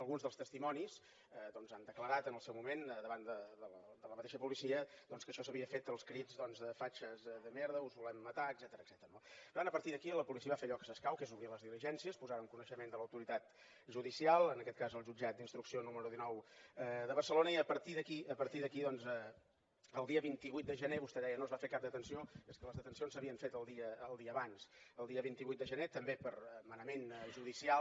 alguns dels testimonis doncs han declarat en el seu moment davant de la mateixa policia doncs que això s’havia fet als crits de fatxes de merda us volem matar etcètera no per tant a partir d’aquí la policia va fer allò que s’escau que és obrir les diligències posar ho en coneixement de l’autoritat judicial en aquest cas el jutjat d’instrucció número dinou de barcelona i a partir d’aquí a partir d’aquí doncs el dia vint vuit de gener vostè deia no es va fer cap detenció és que les detencions s’havien fet el dia abans el dia vint vuit de gener també per manament judicial